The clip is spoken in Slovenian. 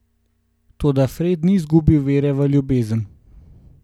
Toda Fred ni izgubil vere v ljubezen.